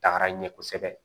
Taga ɲɛ kosɛbɛ